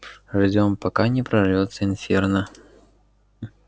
ждём пока не прорвётся инферно